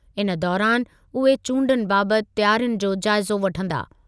इन दौरानि उहे चूंडुनि बाबति तयारियुनि जो जाइज़ो वठंदा।